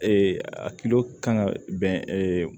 a kan ka bɛn